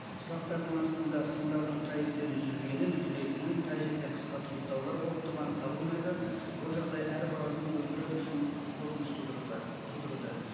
сылақтардың астында сымдардың қай жерден үзілгенін үзілетінін қай жерде қысқа тұйықтаулар болып тұрғаны табылмайды бұл жағдай әр баланың өмірі үшін қорқыныш тудыруда